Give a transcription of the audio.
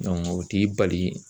o t'i bali